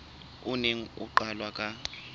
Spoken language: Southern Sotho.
o neng o qalwe ka